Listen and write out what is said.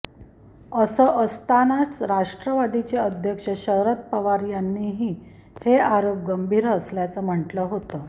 असं असतानाच राष्ट्रवादीचे अध्यक्ष शरद पवार यांनीही हे आरोप गंभीर असल्याचं म्हटलं होतं